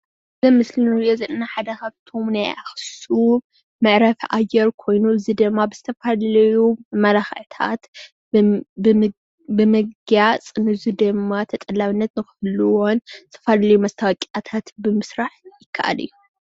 እዚ ኣብ ምስሊ እንሪኦም ዘለና ሓደ ካብቶም ናይ ኣኩሱም መዕረፊ ኣየር ኮይኑ እዚ ድማ ብዝተፈላለዩ መመላክዕታት ብምግያፅ ንዚድማ ተጠላብነት ንክህልዎን ብዝተፈላለዩ መስታወቂያ ብምስራሕ ይክኣል እዩ።